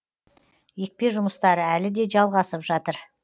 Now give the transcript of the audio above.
екпе жұмыстары әлі де жалғасып жатыр